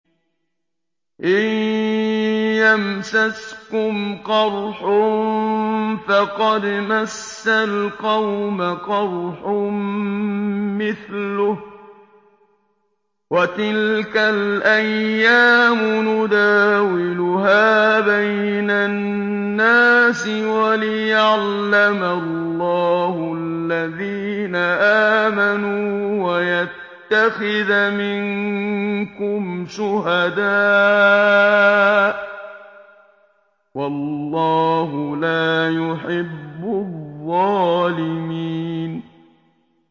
إِن يَمْسَسْكُمْ قَرْحٌ فَقَدْ مَسَّ الْقَوْمَ قَرْحٌ مِّثْلُهُ ۚ وَتِلْكَ الْأَيَّامُ نُدَاوِلُهَا بَيْنَ النَّاسِ وَلِيَعْلَمَ اللَّهُ الَّذِينَ آمَنُوا وَيَتَّخِذَ مِنكُمْ شُهَدَاءَ ۗ وَاللَّهُ لَا يُحِبُّ الظَّالِمِينَ